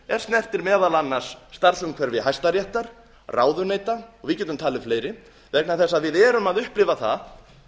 er snertir meðal annars starfsumhverfi hæstaréttar ráðuneyta og við getum talið fleiri vegna þess að við erum að upplifa það